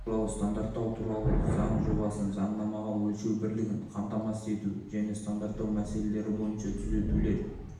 туралы стандарттау туралы заң жобасын заңнамаға өлшем бірлігін қамтамасыз ету және стандарттау мәселелері бойынша түзетулер